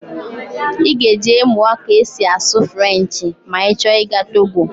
Ị ga-eje mụọ ka esi asụ Frenchị ma ị chọ ịga Togo